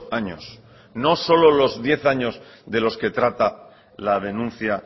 años no solo los diez años de los que trata la denuncia